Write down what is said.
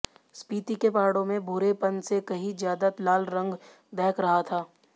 स्पीति के पहाड़ों में भूरेपन से कहीं ज्यादा लाल रंग दहक रहा था